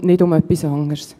um nichts anderes geht es.